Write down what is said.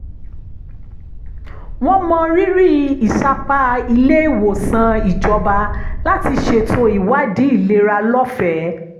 wọ́n mọrírì ìsapá ilé-ìwòsàn ìjọba láti ṣètò ìwádìí ìlera lọ́fẹ̀ẹ́